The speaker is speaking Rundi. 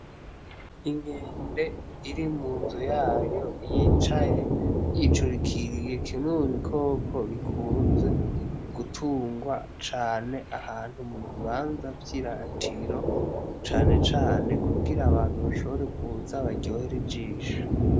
Inkende iri munzu yayo yicaye yicurikiriye kimwe mubikoko bikunze gutungwa cane ahantu mu bibanza vyiratiro cane cane kugira abantu bashobore kuza baryohere ijisho.